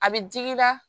A bɛ digi la